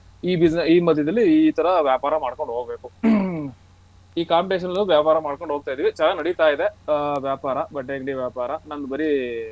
ಈ ಬಿಸಿ ಈ ಮಧ್ಯದಲ್ಲಿ ಈ ತರ ವ್ಯಾಪಾರ ಮಾಡ್ಕೊಂಡು ಹೋಗಬೇಕು ಈ competition ನಲ್ಲಿ ವ್ಯಾಪಾರ ಮಾಡ್ಕೊಂಡು ಹೋಗತಿದಿವಿ ಚೆನ್ನಾಗ್ ನಡೀತಾ ಇದೆ ವ್ಯಾಪಾರ ಬಟ್ಟೆ ಅಂಗ್ಡಿ ವ್ಯಾಪಾರ ನಂದು ಬರೀ.